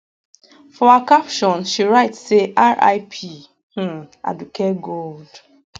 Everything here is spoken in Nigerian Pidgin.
for her caption she write say rip um aduke gold